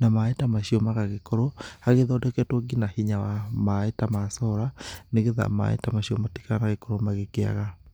Na mai ta macio magagĩkorwo hagĩthodeketwo nginya hinya wa-mai ta ma solar, nĩgĩtha maĩ ta macio matigagĩkorwo magĩkĩaga.